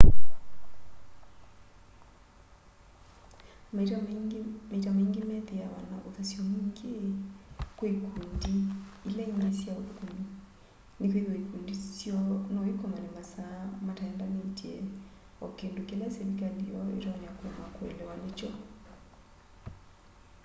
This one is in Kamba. maita maingi methiawa na uthasyo mwingi kwi ikundi ila ingi sya uthukumi nikwithiwa ikundi syoo no ikomane masaa mataendanitye o kindu kila silikali yoo itonya kuema kuelewa nikyo